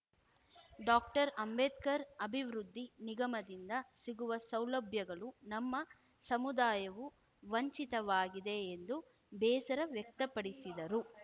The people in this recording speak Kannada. ಡಾಕ್ಟರ್ಅಂಬೇಡ್ಕರ್‌ ಅಭಿವೃದ್ಧಿ ನಿಗಮದಿಂದ ಸಿಗುವ ಸೌಲಭ್ಯಗಳು ನಮ್ಮ ಸಮುದಾಯವು ವಂಚಿತವಾಗಿದೆ ಎಂದು ಬೇಸರ ವ್ಯಕ್ತಪಡಿಸಿದರು